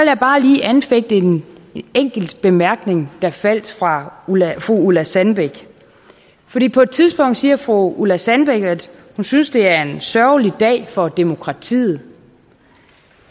jeg bare lige anfægte en enkelt bemærkning der faldt fra fru ulla sandbæk fordi på et tidspunkt siger fru ulla sandbæk at hun synes det er en sørgelig dag for demokratiet